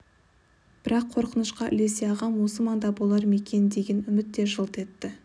бірақ қорқынышқа ілесе ағам осы маңда болар ма екен деген үміт те жылт етті